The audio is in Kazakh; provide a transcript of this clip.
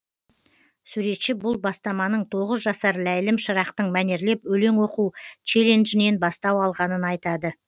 суретші бұл бастаманың тоғыз жасар ләйлім шырақтың мәнерлеп өлең оқу челленджінен бастау алғанын айтады